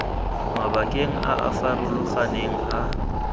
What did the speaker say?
mabakeng a a farologaneng a